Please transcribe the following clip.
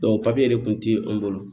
de kun ti an bolo